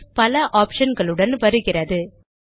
PS பல option களுடன் வருகிறது